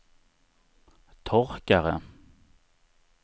torkare